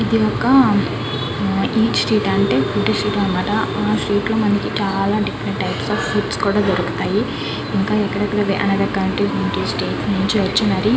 ఇది ఒక eat street అంటే ఫుడ్ స్ట్రీట్ అనమాట. ఆ స్ట్రీట్ లో మనకి different types of sweets fruits కూడా దొరుకుతాయి.